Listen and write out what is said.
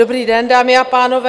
Dobrý den, dámy a pánové.